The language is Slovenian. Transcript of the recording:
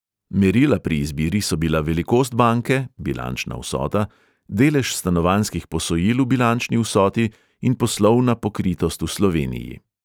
Merila pri izbiri so bila velikost banke (bilančna vsota), delež stanovanjskih posojil v bilančni vsoti in poslovna pokritost v sloveniji.